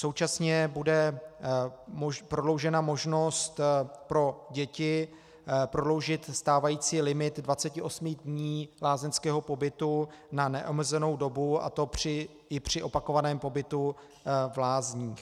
Současně bude prodloužena možnost pro děti prodloužit stávající limit 28 dní lázeňského pobytu na neomezenou dobu, a to i při opakovaném pobytu v lázních.